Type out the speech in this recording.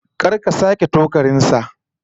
Kar ka sake tokarin sa!